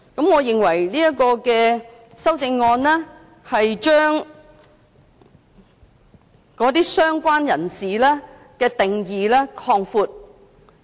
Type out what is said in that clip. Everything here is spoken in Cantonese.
我認為這項修正案將"相關人士"的定義擴大。